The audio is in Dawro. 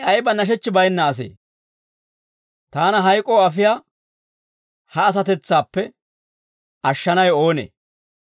Taani ayba nashechchi baynna asee! Taana hayk'oo afiyaa ha asatetsaappe ashshanawe oonee?